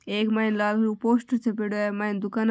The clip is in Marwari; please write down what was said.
एक मायने पोस्टर छप्पोड़ो है मायने दुकाना --